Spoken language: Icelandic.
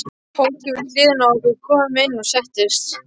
Fólkið við hliðina á okkur kom inn og settist.